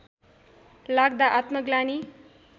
लाग्दा आत्मग्लानि